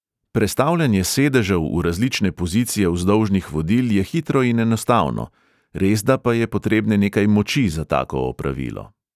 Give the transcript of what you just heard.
Prestavljanje sedežev v različne pozicije vzdolžnih vodil je hitro in enostavno, resda pa je potrebne nekaj moči za tako opravilo.